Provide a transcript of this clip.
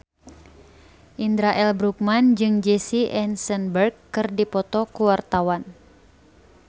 Indra L. Bruggman jeung Jesse Eisenberg keur dipoto ku wartawan